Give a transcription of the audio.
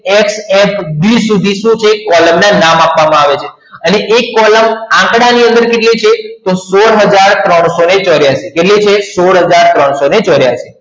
hfd સુધી શું છે કોલમ ના નામ આપવામાં આવે છે અને એક કોલમ આંકડાની અંદર કેટલી છે તો સોડ હજાર ત્રણસો ચોર્યાસી કેટલી છે સોડ હજાર ત્રણસો ચોર્યાસી